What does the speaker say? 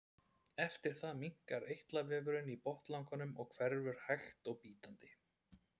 Eftir það minnkar eitlavefurinn í botnlanganum og hverfur hægt og bítandi.